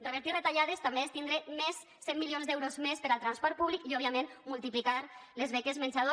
revertir retallades també és tindre més cent milions d’euros més per al transport públic i òbviament multiplicar les beques menjador